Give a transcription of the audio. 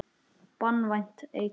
Banvænt eitur.